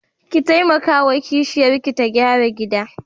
Ki taimakawa wa kishiyarki ta gyara gidan.